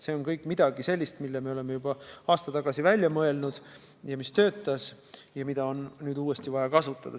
See on kõik midagi sellist, mille me oleme juba aasta tagasi välja mõelnud ja mis töötas ja mida on nüüd uuesti vaja kasutada.